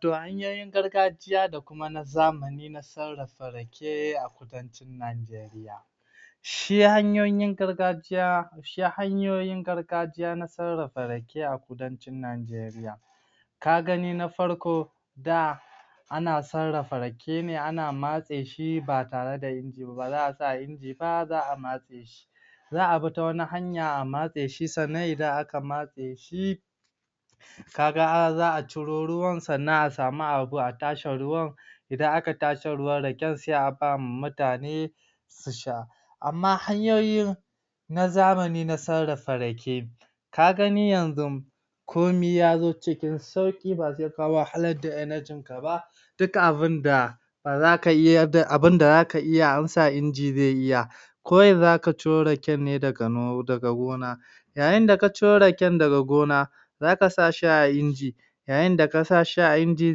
To hanyoyin gargajiya da kuma na zamani na sarrafa Rake a Kudancin Nageriya shi hanyoyin gargajiya, shi hanyoyin gargajiya na sarrafa rake a Kudancin Nigeriya ka gani na farko da ana sarrafa Rake ne, ana matse shi ba tare da inji ba, ba za’a sa a inji ba za’a matse shi za’a bi ta wata hanya a matse shi sannan idan aka matse shi kaga har za’a ciro ruwan sannan a sami abu a tace ruwan idan aka tace ruwan rake sai a bawa mutane su sha amma hanyoyin na zamani na sarrafa Rake ka gani yanzun komi yazo cikin sauƙi ba sai ka wahalar da (energy) ‘yanajin ka ba duk abinda da ba za kayi yadda abinda baza iya ansa inji zai iya ko yanzu aka ciro raken ne daga no daga gona yayi da ka ciro rake daga gona zaka sa hi a inji yayin da kasa shi a inji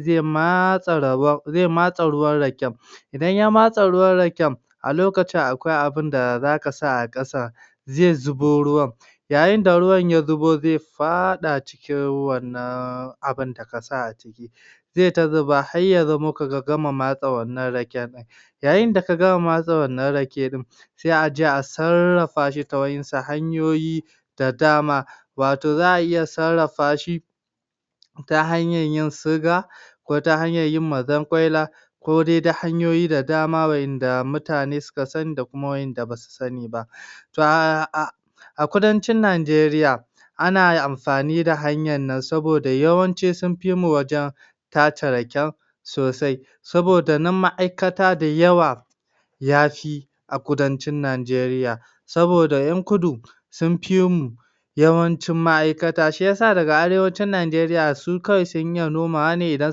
zai matse rabon zai matse ruwan Rake idan ya matse ruwan raken a lokacin akwai abinda zaka sa a ƙasan zai zubo ruwan yayi da ruwan ya zubo zai faɗa cikin wannan abun da kasa a ciki zai ta zuba har ya zamo ka gama matse wannan raken ɗin yayi da ka gama matse wannan rake in ɗin sai aje a sarrafa shi ta waɗansu hanyoyin da dama wato za’a iya sarrafa shi ta hanyar yi siga ko ta hanyar yin mazankwaila ko dai ta hanyoyi da dama waɗanda mutane suka sani da kuma waɗanda basu sani ba to ahh a a Kudancin Nageriya ana amfani da hanyar nan saboda yawanci sunfi mu wajan tace Raken sosai saboda nan ma’aikata da yawa yafi a kudancin Nigeriya saboda yan kudu sunfi mu yawancin ma’aikata shiyasa daga arewacin Nigeriya sun kawai sun iya nomawa ne, idan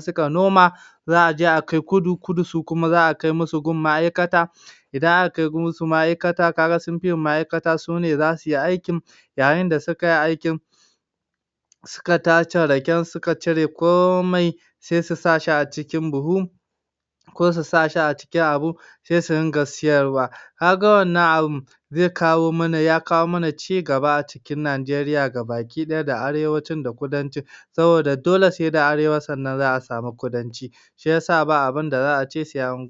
suka noma za’a je a kai kudu, Kudu kuma za’a kai gun ma’aikata idan aka kai musu gun ma’aikata kaga sunfi mu ma’aikata sune zasuyi aikin yayin da sukai aikin suka tace taken suka cire komai sai su sa shi a cikin buhu ko su sa shi a cikin abu sai su dinga siyarwa, kaga wannan abun zai kawo mana ya kawo mana cigaba a cikin Nigeriya gaba ɗaya da arewacin da kudancin saboda dole sai da Arewacin sannan za’a sami kudanci shiyasa ba abun da za’a ce sai au.